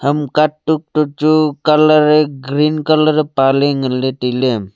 ham katuk toh chu colour eh green colour ee paley nganley tailey.